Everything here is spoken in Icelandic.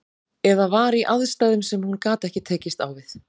Eða var í aðstæðum sem hún gat ekki tekist á við.